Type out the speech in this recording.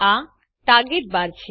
આ ટાર્ગેટ બાર છે